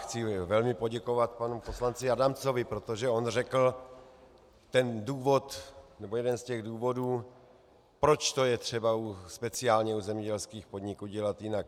Chci velmi poděkovat panu poslanci Adamcovi, protože on řekl ten důvod, nebo jeden z těch důvodů, proč to je třeba speciálně u zemědělských podniků dělat jinak.